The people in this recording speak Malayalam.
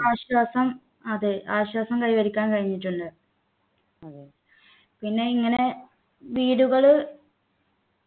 ആശ്വാസം അതെ ആശ്വാസം കൈവരിക്കാൻ കഴിഞ്ഞിട്ടുണ്ട് പിന്നെ ഇങ്ങനെ വീടുകള്